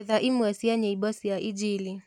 ethaĩmwe cĩa nyĩmbo cĩaĩnjĩlĩ